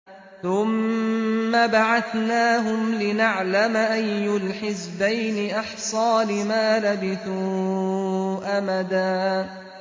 ثُمَّ بَعَثْنَاهُمْ لِنَعْلَمَ أَيُّ الْحِزْبَيْنِ أَحْصَىٰ لِمَا لَبِثُوا أَمَدًا